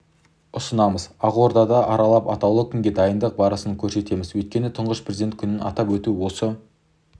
ұсынамыз ақорданы аралап атаулы күнге дайындық барысын көрсетеміз өйткені тұңғыш президент күнін атап өту осы